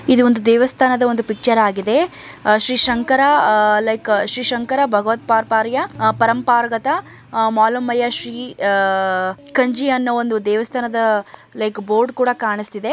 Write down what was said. ಇದು ಒಂದು ದೇವಸ್ಥಾನದ ಪಿಚ್ಚರ್ ಆಗಿದೆ ಶ್ರೀ ಶಂಕರ ಲೈಕ್ಭ ಭಗವದ್ ಪಾತ್ ಕಾರ್ಯಪರಂಪಾರ್ವತ ಮಾಲಮಯ್ಯ ಶ್ರೀ ಕಂಚಿ ಅನ್ನುವಂತ ಲೈಕ್ ಬೋರ್ಡ್--